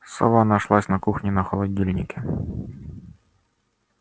сова нашлась на кухне на холодильнике